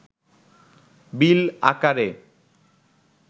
বিল আকারে